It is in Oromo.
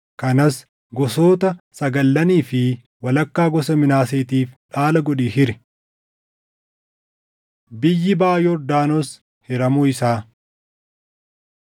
kanas gosoota sagallanii fi walakkaa gosa Minaaseetiif dhaala godhii hiri.” Biyyi Baʼa Yordaanos Hiramuu Isaa